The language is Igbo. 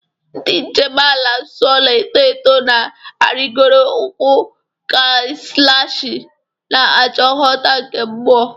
Ndị njem ala nsọ na-eto eto na-arịgoro ugwu Kailashi, na-achọ nghọta nke mmụọ.